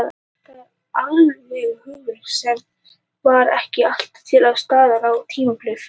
Það er alveg hugarfar sem var ekki alltaf til staðar á tímabilinu í fyrra.